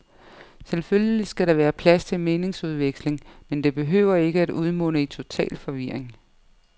Selvfølgelig skal der være plads til meningsudveksling, men det behøver ikke at udmunde i total forvirring.